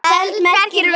feld merkir völlur.